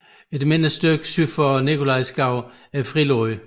Et mindre afsnit syd for Nikolajskoven er frilagt